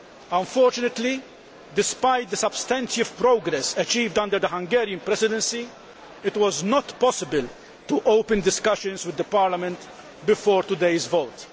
Unfortunately, despite the substantive progress achieved under the Hungarian Presidency, it was not possible to open discussions with Parliament before today's vote.